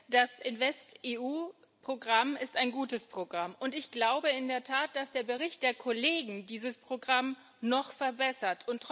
Das InvestEU Programm ist ein gutes Programm, und ich glaube in der Tat, dass der Bericht der Kollegen dieses Programm noch verbessert.